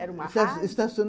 Era uma rádio? Esta